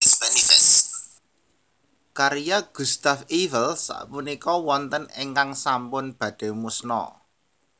Karya Gustave Eiffel sapunika wonten ingkang sampun badhe musna